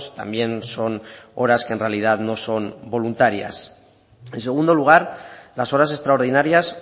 también son horas que en realidad no son voluntarias en segundo lugar las horas extraordinarias